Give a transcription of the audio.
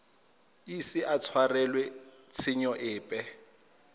ise a tshwarelwe tshenyo epe